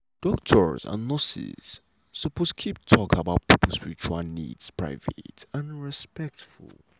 doctors and nurses suppose keep talk about pipo spiritual needs private and respectful.